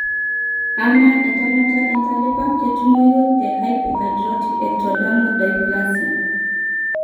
Amaa entemata entalipa ketumoyu tehypohidrotic ectodermal dysplasia?